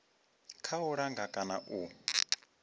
kha u langa kana u